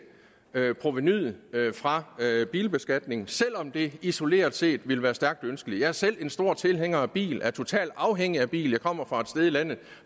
provenuet fra bilbeskatningen selv om det isoleret set ville være stærkt ønskeligt jeg er selv en stor tilhænger af bil er totalt afhængig af bil jeg kommer fra et sted i landet